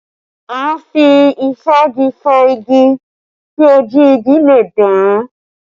À ń fi ìfági fá igi kí ojú igi le dán